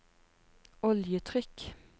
oljetrykk